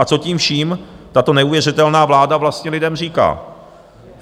A co tím vším tato neuvěřitelná vláda vlastně lidem říká?